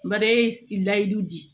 Bara ye layidu di